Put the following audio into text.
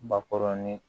Bakɔrɔnin